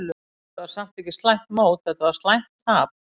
Þetta var samt ekki slæmt mót, þetta var slæmt tap.